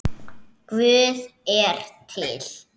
Guð er til.